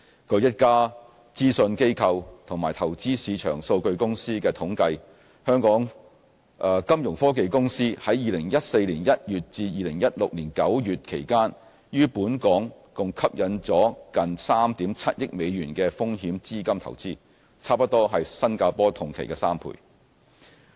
據一家諮詢機構及投資市場數據公司的統計，金融科技公司在2014年1月至2016年9月期間於本港共吸引了近3億 7,000 萬美元的風險資金投資，差不多是新加坡同期的3倍。